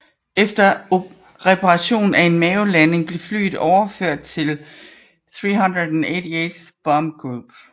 Efter reparation efter en mavelanding blev flyet overført til 388th Bomb Group